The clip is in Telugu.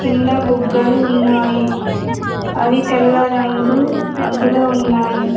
కింద బుగ్గలు ఉన్నాయి అవి తెల్ల రంగు రంగులో ఉన్నాయి.